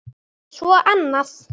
Svo annað.